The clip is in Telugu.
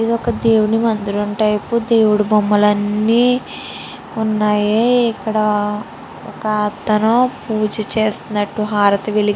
ఇదొక దేవుడి మందిరం టైపు దేవుడి బొమ్మలన్నీ వున్నాయి ఇక్కడ ఒక అతను పూజ చేసినట్టు హారతి వెలిగి --